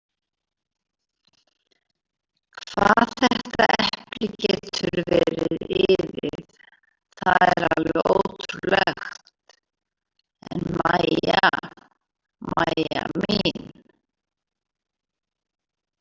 Hvað þetta epli getur verið iðið, það er alveg ótrúlegt en Mæja, Mæja mín.